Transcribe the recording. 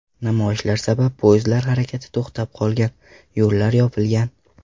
Namoyishlar sabab poyezdlar harakati to‘xtab qolgan, yo‘llar yopilgan.